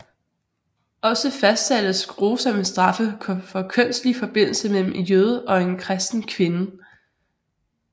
Også fastsattes grusomme straffe for kønslig forbindelse mellem en jøde og en kristen kvinde